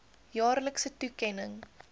jaarlikse toekenning